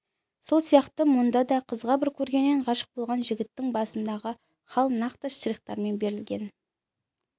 сол сияқты мұнда да қызға бір көргеннен ғашық болған жігіттің басындағы хал нақты штрихтармен берілген